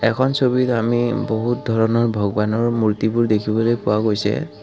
এখন ছবিত আমি বহুত ধৰণৰ ভগৱানৰ মূৰ্ত্তিবোৰ দেখিবলৈ পোৱা গৈছে।